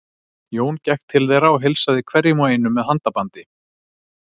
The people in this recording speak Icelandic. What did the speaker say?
Jón gekk til þeirra og heilsaði hverjum og einum með handabandi.